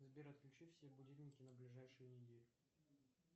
сбер отключи все будильники на ближайшую неделю